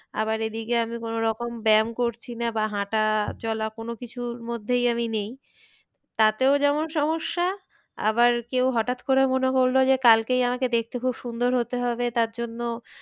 আবার এদিকে আমি কোনো রকম ব্যাম করছি না বা হাঁটা চলা কোনো কিছুর মধ্যেই আমি নেই। তাতেও যেমন সমস্যা আবার কেউ হঠাৎ করে মনে করলো যে কালকেই আমাকে দেখতে খুব সুন্দর হতে হবে তার জন্য,